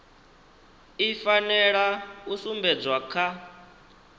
i fanela u sumbedzwa kha